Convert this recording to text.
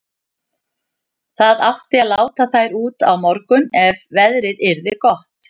Það átti að láta þær út á morgun ef veðrið yrði gott.